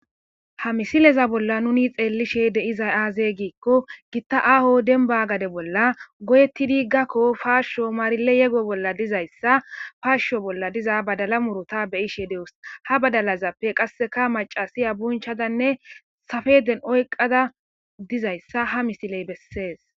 ha misileza bolla nuni xeellishe deizay aazey giikko gitta aaho denba gade bolla goyetti diggakko paashsho maarile yego bolla dizayssa faashsho bolla diza badala murota beyishe dewus ha badalazappe qasseka macasiya bunchadanne safeden oyqada dizayssa ha misiley bessees